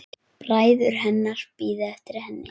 Bræður hennar bíða eftir henni.